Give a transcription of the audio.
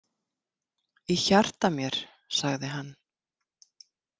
Í hjarta mér, sagði hann.